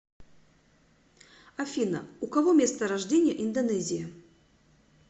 афина у кого место рождения индонезия